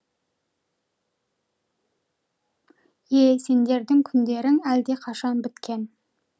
е сендердің күндерің әлдеқашан біткен